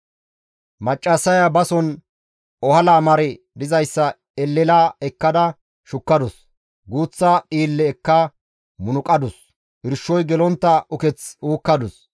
Maccassaya bason ohala mari dizayssa elela ekkada shukkadus; guuththa dhiille ekka munuqadus; irshoy gelontta uketh uukkadus.